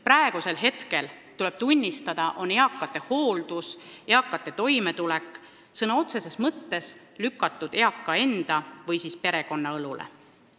Praegu, tuleb tunnistada, on eakate hooldus ja toimetulek sõna otseses mõttes lükatud eaka enda või tema perekonna õlule.